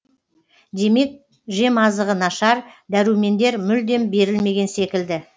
демек жемазығы нашар дәрумендер мүлдем берілмеген секілді